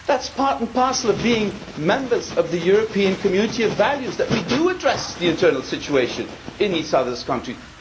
It is part and parcel of being members of the European community of values that we do address the internal situation in each other's countries.